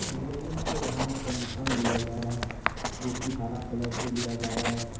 हाथ का निशान लिया जा रहा है जो कि हरा कलर से लिया जा रहा है।